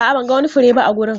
A'a, ban ga wani fure ba a wurin.